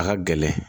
A ka gɛlɛn